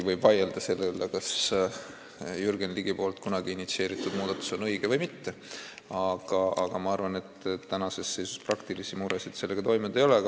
Võib vaielda selle üle, kas Jürgen Ligi poolt kunagi initsieeritud muudatus on õige või mitte, aga ma arvan, et tänases seisus praktilisi muresid sellega tekkinud ei ole.